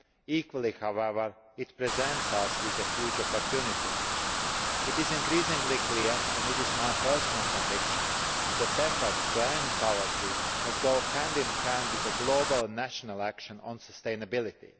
Equally, however, it presents us with a huge opportunity. It is increasingly clear and it is my personal conviction that efforts to end poverty must go hand in hand with global and national action on sustainability.